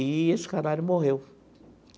Eee esse canário morreu.